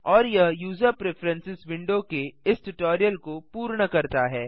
और यह user preferences window के इस ट्यूटोरियल को पूर्ण करता है